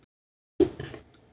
Og hreinn!